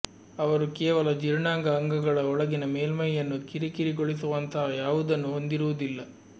ಅವರು ಕೇವಲ ಜೀರ್ಣಾಂಗ ಅಂಗಗಳ ಒಳಗಿನ ಮೇಲ್ಮೈಯನ್ನು ಕಿರಿಕಿರಿಗೊಳಿಸುವಂತಹ ಯಾವುದನ್ನೂ ಹೊಂದಿರುವುದಿಲ್ಲ